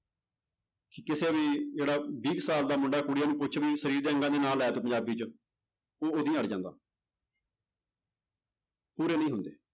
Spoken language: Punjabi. ਕਿ ਕਿਸੇ ਵੀ ਜਿਹੜਾ ਵੀਹ ਕੁ ਸਾਲ ਦਾ ਮੁੰਡਾ ਕੁੜੀ ਆ ਉਹਨੂੰ ਕੁਛ ਵੀ ਸਰੀਰ ਦੇ ਅੰਗਾਂ ਦੇ ਨਾਂ ਲੈ ਦਓ ਪੰਜਾਬੀ 'ਚ, ਉਹ ਉਦੋਂ ਹੀ ਅੜ ਜਾਂਦਾ ਪੂਰੇ ਨਹੀਂ ਹੁੰਦੇ